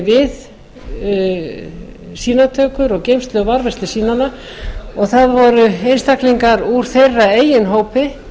unnu við sýnatökur og geymslu og varðveislu sýnanna og það voru einstaklingar úr þeirra eigin hópi